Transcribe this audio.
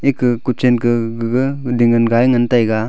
eka ku chan ka gaga ding ngan ngai ngan tai ga.